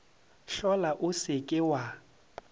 hlola o se ke wa